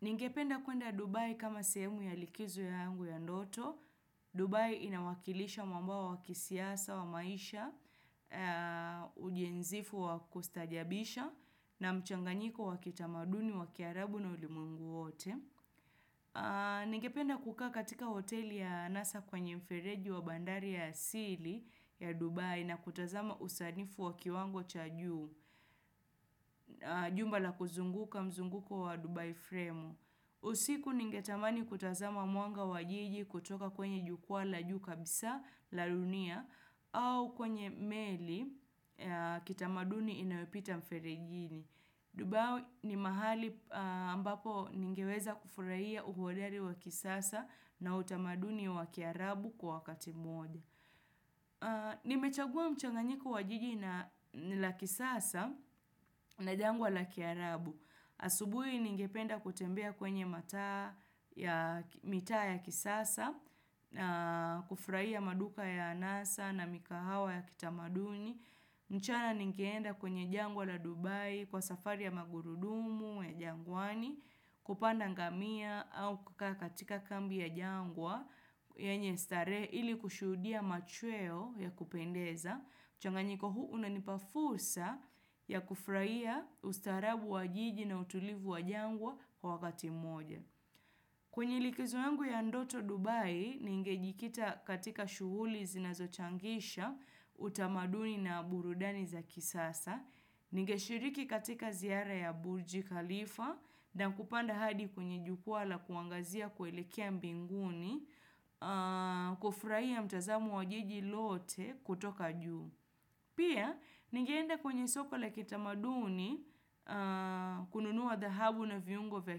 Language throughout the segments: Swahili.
Ningependa kuenda Dubai kama sehemu ya likizo yangu ya ndoto. Dubai inawakilisha mwamba wa kisiasa wa maisha, ujenzifu wa kustaajabisha na mchanganyiko wa kitamaduni wa kiarabu na ulimwengu wote. Ningependa kukaa katika hoteli ya nasa kwenye mfereji wa bandari ya asili ya Dubai na kutazama usanifu wa kiwango cha juu, jumba la kuzunguka mzunguko wa Dubai frame. Usiku ningetamani kutazama mwanga wa jiji kutoka kwenye jukwaa la juu kabisa la dunia au kwenye meli kitamaduni inayopita mferejini. Dubai ni mahali ambapo ningeweza kufurahia uhodari wa kisasa na utamaduni wa kiarabu kwa wakati mmoja. Nimechagua mchanganyika wa jiji na la kisasa na jangwa la kiarabu. Asubuhi ningependa kutembea kwenye mataa ya mitaa ya kisasa, kufurahia maduka ya anasa na mikahawa ya kitamaduni. Mchana ningeenda kwenye jangwa la Dubai, kwa safari ya magurudumu, ya jangwani, kupanda ngamia au kukaa katika kambi ya jangwa yenye starehe ili kushudia machweo ya kupendeza. Mchanganyiko huu unanipa fursa ya kufurahia ustaarabu wa jiji na utulivu wa jangwa kwa wakati mmoja. Kwenye likizo yangu ya ndoto Dubai, ningejikita katika shughuli zinazochangisha utamaduni na burudani za kisasa. Ningeshiriki katika ziara ya Burji Khalifa na kupanda hadi kwenye jukwaa la kuangazia kuelekea mbinguni. Kufurahia mtazamo wa jiji lote kutoka juu. Pia, ningeenda kwenye soko la kitamaduni kununua dhahabu na viungo vya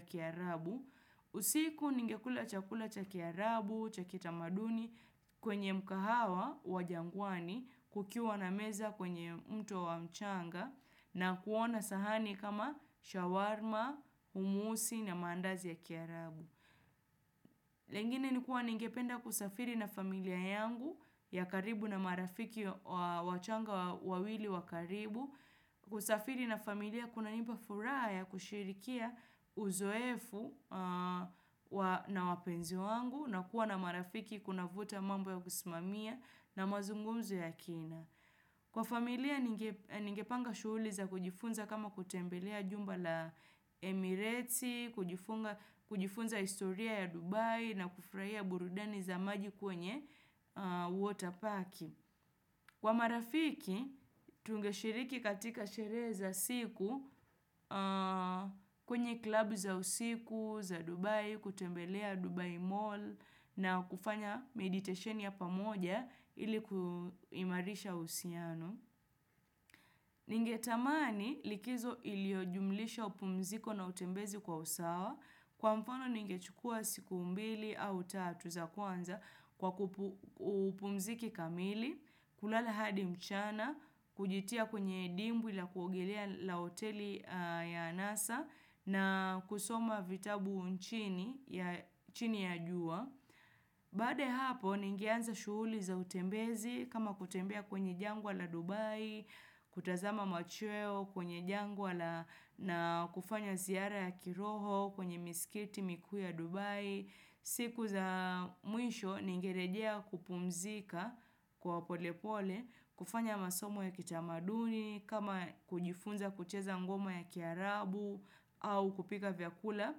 kiarabu, usiku ningekula chakula cha kiarabu, cha kitamaduni kwenye mkahawa wa jangwani kukiwa na meza kwenye mto wa mchanga na kuona sahani kama shawarma, humusi na mandazi ya kiarabu. Lingine ni kuwa ningependa kusafiri na familia yangu ya karibu na marafiki wa changa wawili wa karibu. Kusafiri na familia kunanipa furaha ya kusherehekea uzoefu na wapenzi wangu na kuwa na marafiki kunavuta mambo ya kusimamia na mazungumzo ya kina. Kwa familia ningepanga shughuli za kujifunza kama kutembelea jumba la Emireti, kujifunza historia ya Dubai na kufurahia burudani za maji kwenye water park. Kwa marafiki, tungeshiriki katika sherehe za siku kwenye klabu za usiku, za Dubai, kutembelea Dubai Mall na kufanya meditation ya pamoja ili kuimarisha uhusiano. Ningetamani likizo iliyojumlisha upumziko na utembezi kwa usawa. Kwa mfano nigechukua siku mbili au tatu za kwanza kwa upumziki kamili, kulala hadi mchana, kujitia kwenye dwimbi la kuogelea la hoteli ya anasa na kusoma vitabu chini ya jua. Baada ya hapo ningeanza shughuli za utembezi kama kutembea kwenye jangwa la Dubai kutazama machweo kwenye jangwa na kufanya ziara ya kiroho kwenye misikiti mikuu ya Dubai siku za mwisho ningerejea kupumzika kwa pole pole kufanya masomo ya kitamaduni kama kujifunza kucheza ngoma ya kiarabu au kupika vyakula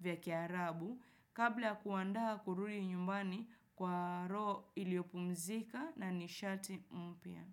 vya kiarabu kabla ya kuandaa kurudi nyumbani kwa roho iliyopumzika na nishati mpya.